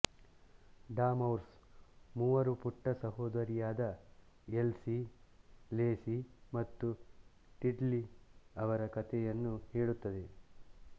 dormouse ಮೂವರು ಪುಟ್ಟ ಸಹೋದರಿಯರಾದ ಎಲ್ಸಿ ಲೇಸಿ ಮತ್ತು ಟಿಲ್ಲಿ ಅವರ ಕಥೆಯನ್ನು ಹೇಳುತ್ತದೆ